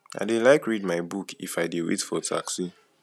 i dey like read my book if i dey wait for taxi